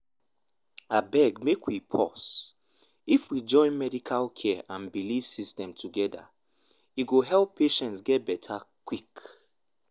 abeg make we pause — if we join medical care and belief systems together e go help patients get better quick.